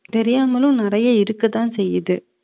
தெரியாமலும் நிறைய இருக்கத்தான் செய்யுது